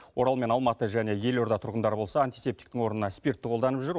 орал мен алматы және елорда тұрғындары болса антисептиктің орнына спиртті қолданып жүр